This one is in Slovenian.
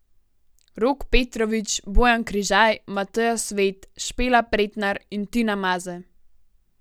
Rok Petrovič, Bojan Križaj, Mateja Svet, Špela Pretnar in Tina Maze.